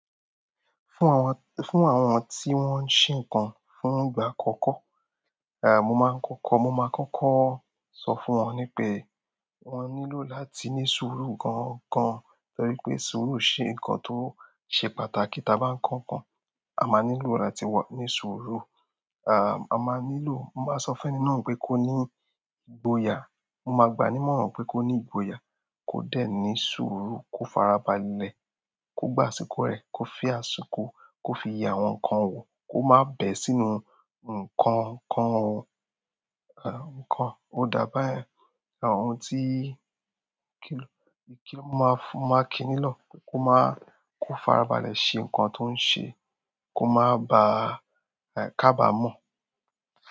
Fún àwọn, fún àwọn tí wọ́n ń ṣè nkan fún ìgbà àkọ́kọ́, mo máa ń kọ́kọ́, mo ma kọ́kọ́ sọ fún wọn nípé wọ́n nílò láti ní sùúrù gangan. Torí pé sùúrù ṣe nǹkan tó ṣe pàtàkì. Tí a bá ń kó nkan, a ma nílò láti wà ní sùúrù. A máa nílò, mo máa n sọ fẹ́ ni náà nípé kó ní ìgboyà. Mo ma gbà á nímọ̀ràn pé kó ní ìgboyà, kó dẹ̀ ní sùúrù, kó farabalẹ̀, kó gba àṣìkò rẹ̀, kó fi àsìkò, kó fi ye àwọn nǹkan wò, kó má bẹ̀ ẹ́ sínú nǹkan kan. Ó da bá yẹn. Àwọn ohun tí kí ló, kí ló, máa fún, máa kí nílò kó máa, kó farabalẹ̀ ṣe nǹkan tó ń ṣe, kó máa ba, ká bàá mọ̀